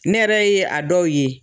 Ne yɛrɛ ye a dɔw ye